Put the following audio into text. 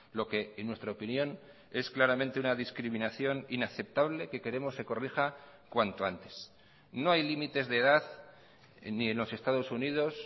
lo que en nuestra opinión es claramente una discriminación inaceptable que queremos se corrija cuanto antes no hay límites de edad ni en los estados unidos